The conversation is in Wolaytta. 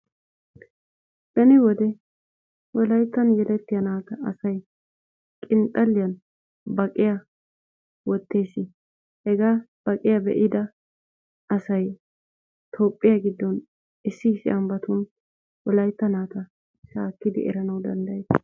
Beni wode wolayttan yelettiya naata asay qinxxalliyan baqiya wottees. Hegaa baqiya be'ida asay Toophphiya giddon issi issi ambbatun wolaytta naata shaakkidi eranawu danddayees.